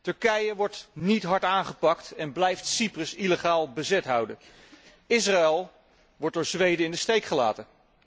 Turkije wordt niet hard aangepakt en blijft Cyprus illegaal bezet houden. Israël wordt door Zweden in de steek gelaten.